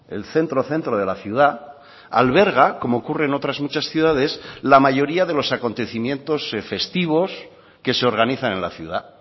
el centro centro de la ciudad alberga como ocurre en otras muchas ciudades la mayoría de los acontecimientos festivos que se organizan en la ciudad